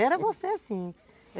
Era você sim.